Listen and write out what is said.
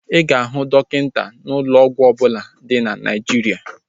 Ị ga-ahụ dọkịta n'ụlọ ọgwụ ọbụla dị na Naijiria